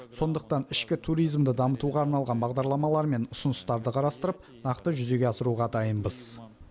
сондықтан ішкі туризмді дамытуға арналған бағдарламалар мен ұсыныстарды қарастырып нақты жүзеге асыруға дайынбыз